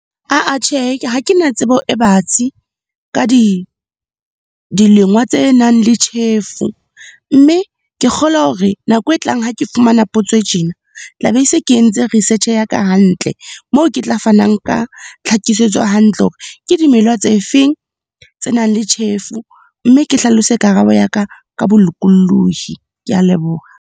Aa tjhe, ha kena tsebo e batsi ka dilema tse nang le tjhefo. Mme ke kgolwa hore nako e tlang ha ke fumana potso e tjena, tla be se ke entse research ya ka hantle. Moo ke tla fanang ka tlhakisetso hantle, hore ke dimela tse feng tse nang le tjhefo mme ke hlalose karabo ya ka, ka bolokolohi. Ke a leboha.